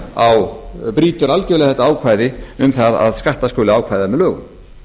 þetta ákvæði brýtur algjörlega á um það að skatta skuli ákveða með lögum